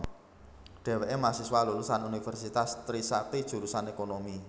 Dheweké mahasiswa lulusan Universitas Trisakti jurusan Ekonomi